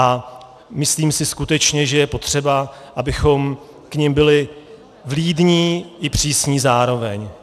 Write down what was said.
A myslím si skutečně, že je potřeba, abychom k nim byli vlídní i přísní zároveň.